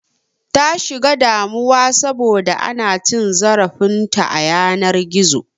Ta shiga damuwa saboda ana cin zarafin ta a yanar gizo